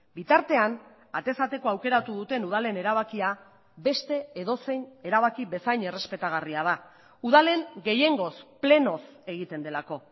bitartean atez atekoa aukeratu duten udalen erabakia beste edozein erabaki bezain errespetagarria da udalen gehiengoz plenoz egiten delako